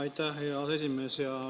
Aitäh, hea aseesimees!